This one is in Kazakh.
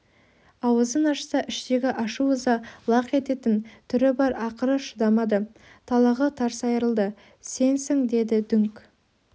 ауызын ашса іштегі ашу-ыза лақ ететін түрі бар ақыры шыдамады талағы тарс айрылды сенсің деді дүңк